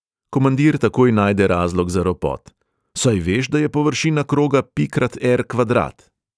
Komandir takoj najde razlog za ropot: "saj veš, da je površina kroga pi krat er| kvadrat?!"